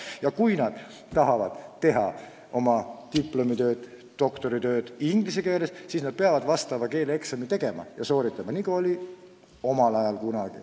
Ja kui nad tahavad teha oma diplomitööd ja doktoritööd inglise keeles, siis nad peavad selleks keeleeksami tegema, nagu oli omal ajal.